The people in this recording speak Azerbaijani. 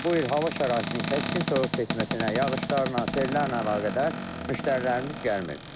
Ancaq bu il hava şəraitinin kəskin soyuq keçməsinə, yağışlarla, sellərlə əlaqədar müştərilərimiz gəlmir.